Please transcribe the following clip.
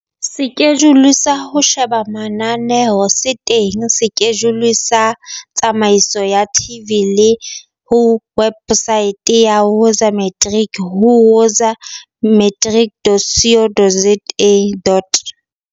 Sekejule sa ho sheba mananeo se teng sekejuleng sa tataiso ya TV le ho wepsaete ya Woza Matrics ho woza-matrics.co.za.